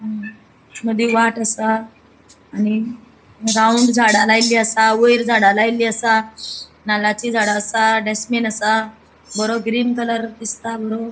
अ मदी वाट आसा आणि राउंड झाडा लायल्ली आसा वयर झाडा लायल्ली आसा नाल्लाची झाडा आसा डस्ट्बिन आसा बरो ग्रीन कलर दिसता बरो.